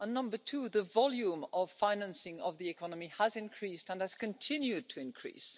And number two, the volume of financing of the economy has increased and has continued to increase.